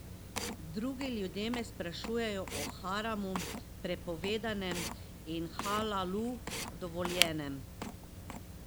Drugi ljudje me sprašujejo o haramu, prepovedanem, in halalu, dovoljenem.